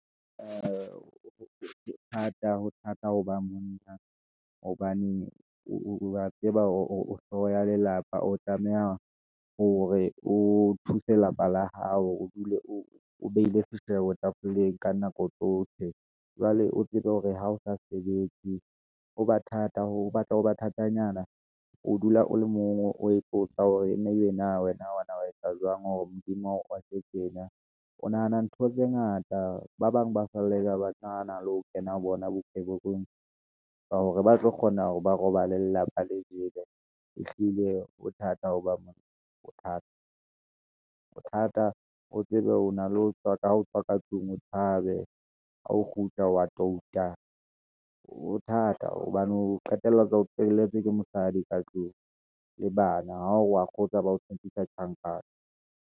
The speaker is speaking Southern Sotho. Ee ho thata ho ba monna, hobane o wa tseba hore hlooho ya lelapa, o tlameha hore o thuse lapa la hao, o dule o behile seshebo tafoleng ka nako tsohle. Jwale o tsebe hore ha o sa sebetse, ho ba thata ho batla ho ba thatanyana. O dula o le mong, o ipotsa hore na ebe na wena, wana wa etsa jwang hore Modimo a rwake tjena, o nahana ntho tse ngata. Ba bang ba fallela banahana le ho kena ho bona bokebekweng, ka hore ba tlo kgona hore ba robale lelapa le jele. Ehlile ho thata hoba monna, ho thata, ho thata o tsebe o na le ho tswa, ho tswa ka tlung o tshabe, ha o kgutla wa touta. Ho thata hobane o qetelletsa o telletswe ke mosadi ka tlung le bana, ha o wa kgotsa ba o tshepisa tjhankane.